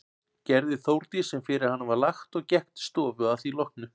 Gerði Þórdís sem fyrir hana var lagt og gekk til stofu að því loknu.